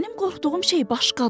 Mənim qorxduğum şey başqadır.